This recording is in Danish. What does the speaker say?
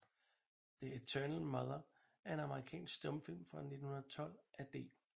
The Eternal Mother er en amerikansk stumfilm fra 1912 af D